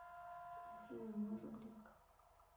афина мы уже близко